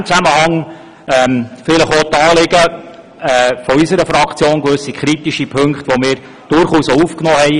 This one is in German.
In diesem Zusammenhang erwähne ich auch die Anliegen unserer Fraktion, gewisse kritische Punkte, die wir durchaus auch aufgenommen haben.